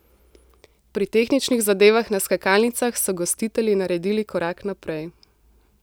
Pri tehničnih zadevah na skakalnicah so gostitelji naredili korak naprej.